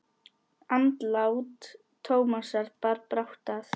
Andlát Tómasar bar brátt að.